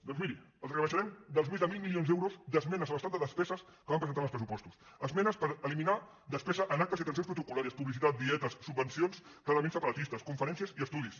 doncs miri els rebaixarem dels més de mil milions d’euros d’esmenes a l’estat de despeses que vam presentar en els pressupostos esmenes per eliminar despesa en actes i atencions protocol·dietes subvencions clarament separatistes conferències i estudis